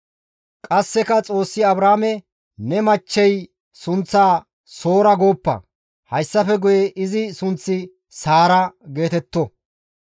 Qasseka Xoossi Abrahaame, «Ne machchey sunththaa Soora gooppa; hayssafe guye izi sunththi Saara geetetto.